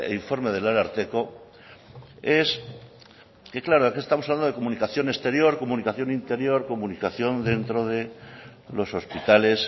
informe del ararteko es que claro aquí estamos hablando de comunicación exterior comunicación interior comunicación dentro de los hospitales